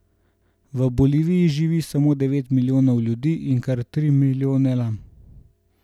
V Boliviji živi samo devet milijonov ljudi in kar tri milijone lam.